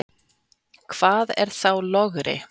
Hvað er þá logri?